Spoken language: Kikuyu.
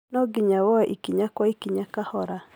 No nginya woye ikinya kwa ikinya kahora